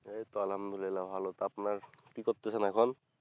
এইতো আল্লাহামদুল্লিলাহ ভালো তা আপনার কি করতেছেন এখন